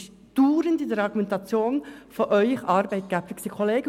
Dies ist dauernd in den Argumentationen der Arbeitgebenden vorgekommen.